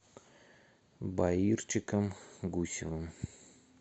баирчиком гусевым